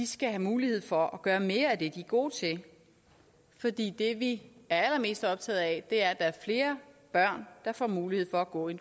skal have mulighed for at gøre mere af det de er gode til fordi det vi er allermest optaget af er at er flere børn der får mulighed for at gå i